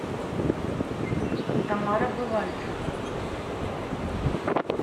тамара бывальцева